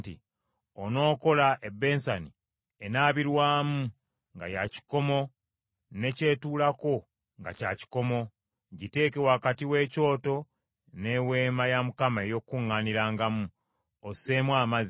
“Onookola ebbensani enaabirwamu nga ya kikomo ne ky’etuulako nga kya kikomo. Giteeke wakati w’ekyoto n’Eweema ey’Okukuŋŋaanirangamu; osseemu amazzi.